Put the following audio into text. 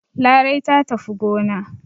Larai ta tafi gona.